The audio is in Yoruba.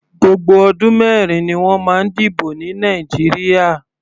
Gbogbo ọdún mẹrin ni wọ́n máa ń dìbò ní Nàìjíríà.